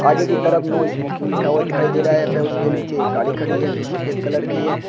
आगे की तरफ नो स्मोकिंग लिखा हुआ दिखाई दे रहा है व उसके नीचे एक गाड़ी खड़ी है जो सफेद कलर की है।